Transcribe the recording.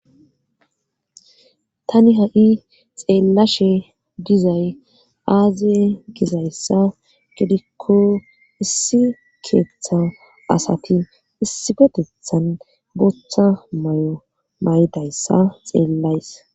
Tani ha,i xeellashe gizay aaze gizayssa gidikko issi keeththa asati issi gotethan boththa may,o maydayssa xeellays